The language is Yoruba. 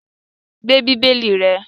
Gbe Bíbélì rẹ̀!